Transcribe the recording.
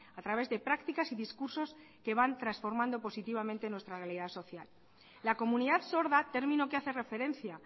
a través de prácticas y discursos que van transformando positivamente nuestra realidad social la comunidad sorda término que hace referencia